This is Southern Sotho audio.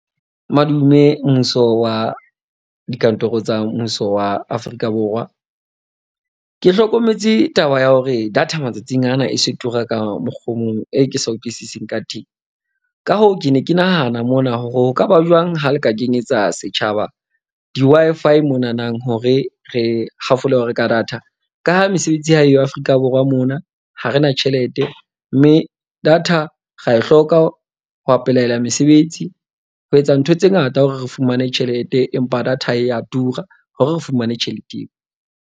Madume mmuso wa dikantoro tsa mmuso wa Afrika Borwa. Ke hlokometse taba ya hore data matsatsing ana e se tura ka mokgwa o mong e ke sa utlwisising ka teng. Ka hoo, ke ne ke nahana mona hore ho ka ba jwang ha le ka kenyetsa setjhaba di-Wi-Fi mona nang. Hore re hafole ho reka data. Ka ha mesebetsi ha eyo Afrika Borwa mona, ha re na tjhelete, mme data ra e hloka ho apolaela mesebetsi. Ho etsa ntho tse ngata hore re fumane tjhelete, empa data e ya tura hore re fumane tjhelete eo.